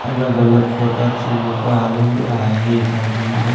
अलग अलग प्रकारची लोकं आलेली आहेत आणि इथं--